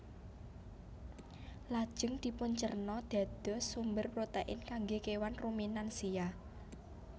Lajeng dipuncerna dados sumber protein kanggé kéwan ruminansia